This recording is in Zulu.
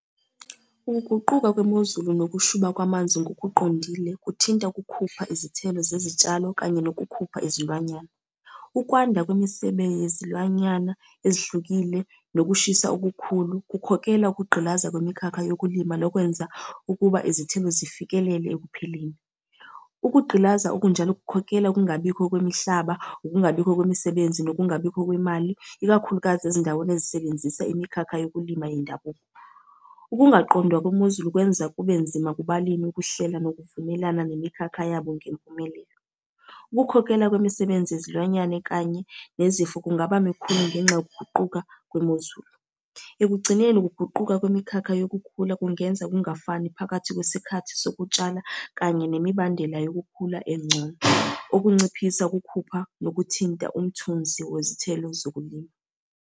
Ukuguquka kwemozulu nokushuba kwamanzi ngokuqondile, kuthinta ukukhupha izithelo zezitshalo kanye nokukhupha izilwanyana. Ukwanda kwemisebe yezilwanyana ezihlukile, nokushisa okukhulu, kukhokhela ukugqilaza kwemikhakha yokulima lokwenza ukuba izithelo zifikelele ekuphileni. Ukugqilaza okunjalo kukhokhela ukungabikho kwemihlaba, ukungabikho kwemisebenzi, nokungabikho kwemali, ikakhulukazi ezindaweni ezisebenzisa imikhakha yokulima yendabuko. Ukungaqondwa kwemozulu kwenza kube nzima kubalimi ukuhlela nokuvumelana nemikhakha yabo ngempumelelo. Ukukhokhela kwemisebenzi yezilwanyana kanye nezifo kungaba mikhulu ngenxa yokuguquka kwemozulu. Ekugcineni, ukuguquka kwemikhakha yokukhula kungenza kungafani phakathi kwesikhathi sokutshala kanye nemibandela yokukhula engcono, okunciphisa ukukhupha nokuthinta umthunzi wezithelo zokulima.